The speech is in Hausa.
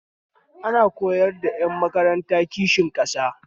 Ana koyar da ƴan makaranta kishin ƙasa